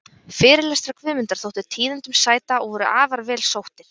Fyrirlestrar Guðmundar þóttu tíðindum sæta og voru afar vel sóttir.